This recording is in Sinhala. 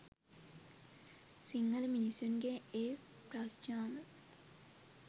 සිංහල මිනිස්සුන්ගෙන් ඒ ප්‍රඥාව